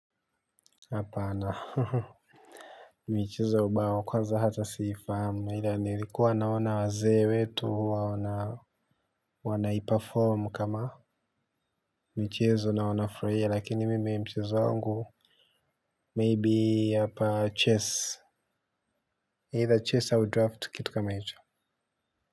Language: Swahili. Hapaana michezo ya ubao kwanza hata siifahamu ila nilikuwa naona waze wetu wana wanaiperform kama mchezo na wanafurahia lakini mimi mchezo wangu maybe hapa chess either chess or draft kitu kama hicho.